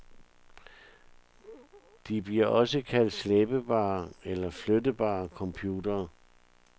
De bliver også kaldt slæbbare eller flytbare computere.